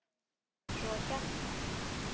Svo hjarta.